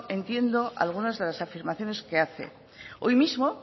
entiendo algunas de las afirmaciones que hace hoy mismo